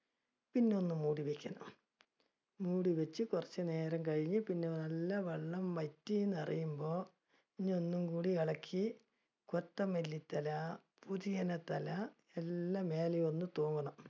പിന്നെ ഒന്ന് മൂടി വെക്കണം. മൂടി വെച്ച് കുറച്ചുനേരം കഴിഞ്ഞ് പിന്നെ നല്ല വെള്ളം വറ്റിയെന്ന് അറിയുമ്പോൾ, ഇനി ഒന്നും കൂടി ഇളക്കി കൊത്തമല്ലി തല, പുതിനയില തല എല്ലാം മേലെ ഒന്ന് തൂവണം